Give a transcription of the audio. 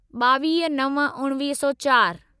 ॿावीह नव उणिवीह सौ चारि